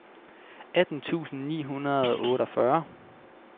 atten tusind ni hundrede og otteogfyrre